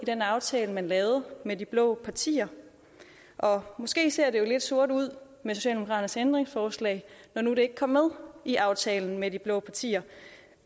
den aftale man lavede med de blå partier måske ser det lidt sort ud med socialdemokraternes ændringsforslag når nu det ikke kom med i aftalen med de blå partier